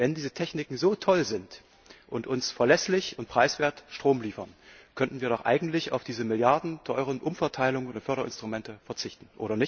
Wenn diese Techniken so toll sind und uns verlässlich und preiswert Strom liefern, könnten wir doch eigentlich auf diese milliardenteuren Umverteilungen und Förderinstrumente verzichten.